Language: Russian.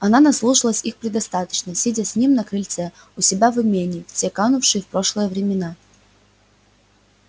она наслушалась их предостаточно сидя с ним на крыльце у себя в имении в те канувшие в прошлое времена